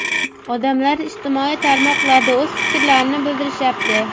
Odamlar ijtimoiy tarmoqlarda o‘z fikrlarini bildirishyapti.